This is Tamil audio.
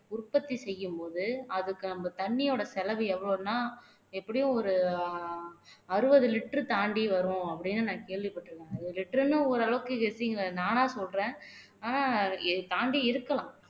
உற்பத்தி செய்யும்போது அதுக்கு அந்த தண்ணியோட செலவு எவ்வளவுன்னா எப்படியும் ஒரு அறுபது liter தாண்டி வரும் அப்படீன்னு நான் கேள்விப்பட்டிருக்கேன் ஒரு liter ன்னா ஓரளவுக்கு நானா சொல்றேன் ஆனா இது தாண்டி இருக்கலாம்